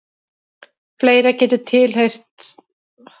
fleira getur tilheyrt flokksmerkinu